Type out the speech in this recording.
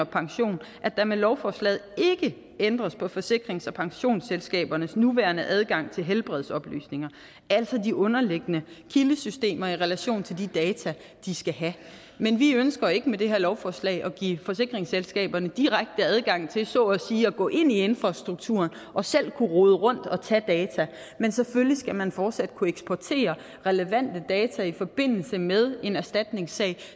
pension at der med lovforslaget ikke ændres på forsikrings og pensionsselskabernes nuværende adgang til helbredsoplysninger altså de underliggende kildesystemer i relation til de data de skal have men vi ønsker ikke med det her lovforslag at give forsikringsselskaberne direkte adgang til så at sige at gå ind i infrastrukturen og selv kunne rode rundt og tage data men selvfølgelig skal man fortsat kunne eksportere relevante data i forbindelse med en erstatningssag